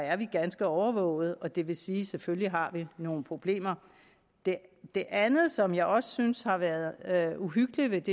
er vi ganske overvågede og det vil sige at selvfølgelig har vi nogle problemer det det andet som jeg også synes har været uhyggeligt